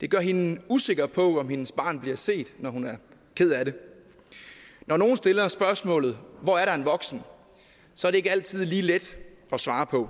det gør hende usikker på om hendes barn bliver set når hun er ked af det når nogle stiller spørgsmålet hvor er der en voksen så er det ikke altid lige let at svare på